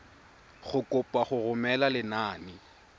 go kopa go romela lenane